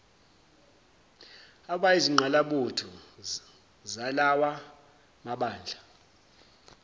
abayizingqalabutho zalawa mabandla